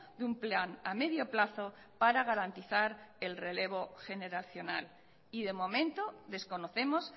de un plan a medio plazo para garantizar el relevo generacional y de momento desconocemos